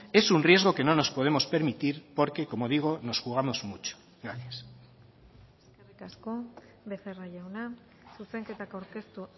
es un riesgo que no nos podemos permitir porque como digo nos jugamos mucho gracias eskerrik asko becerra jauna zuzenketako aurkeztu